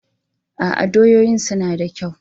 A'a, doyoyin suna da kyau.